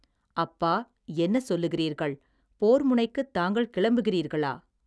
அப்பா, என்ன சொல்லுகிறீர்கள், போர்முனைக்குத் தாங்கள் கிளம்புகிறீர்களா.